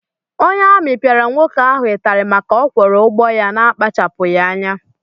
Onye amị piara nwoke ahụ itari màkà ọ Kworo ụgbọ ya na-skachapughi anya.